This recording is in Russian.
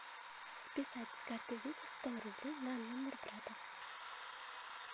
списать с карты виза сто рублей на номер брата